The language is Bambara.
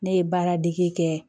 Ne ye baara dege kɛ